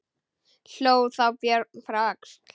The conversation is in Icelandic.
Hló þá Björn frá Öxl.